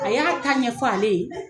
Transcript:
A y'a ta ɲɛfɔ ale ye